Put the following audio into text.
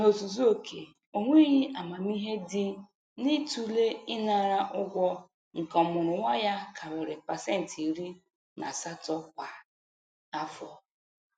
N'ozuzu oke onweghi amamihe dị n'ịtụle ịnara ụgwọ nke ọmụrụnwa ya karịrị pasentị iri na asatọ kwa afọ.